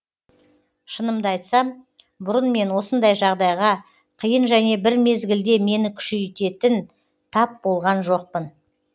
шынымды айтсам бұрын мен осындай жағдайға қиын және бір мезгілде мені күшейтетін тап болған жоқпын